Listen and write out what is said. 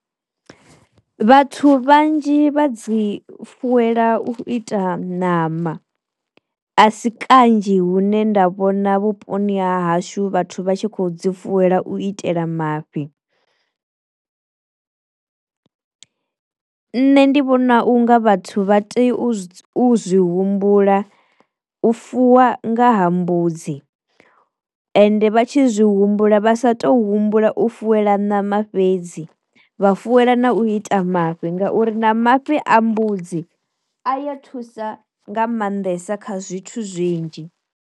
Vhathu vhanzhi vha dzi fuwela u ita namba a si kanzhi hune nda vhona vhuponi ha hashu vhathu vha tshi kho dzi fuela u itela mafhi. Nṋe ndi vhona unga vhathu vha tea u zwi humbula u fuwa nga ha mbudzi ende vha tshi zwi humbula vhasa to humbula u fuela ṋama fhedzi vha fuela na u ita mafhi ngauri na mafhi a mbudzi a ya thusa nga maanḓesa kha zwithu zwinzhi.